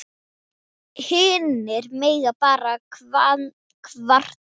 Hinir mega bara kvarta.